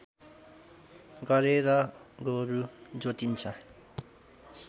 गरेर गोरु जोतिन्छ